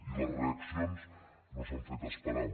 i les reaccions no s’han fet esperar